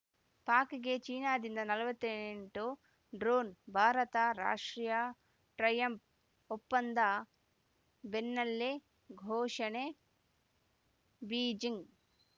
ಪಾಕ್‌ಗೆ ಚೀನಾದಿಂದ ನಲವತ್ತೆಂಟು ಡ್ರೋನ್‌ ಭಾರತರಾಷ್ಟೀಯ ಟ್ರಯಂಪ್ ಒಪ್ಪಂದ ಬೆನ್ನಲ್ಲೇ ಘೋಷಣೆ ಬೀಜಿಂಗ್‌